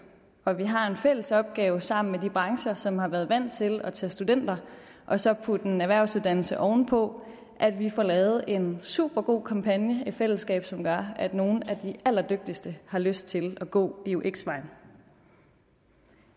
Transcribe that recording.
og vi har en fælles opgave sammen med de brancher som har været vant til at tage studenter og så putte en erhvervsuddannelse ovenpå at vi får lavet en supergod kampagne i fællesskab som gør at nogle af de allerdygtigste har lyst til at gå eux vejen